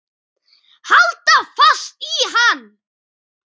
Halda fast í hann!